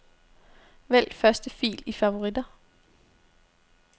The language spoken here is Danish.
Vælg første fil i favoritter.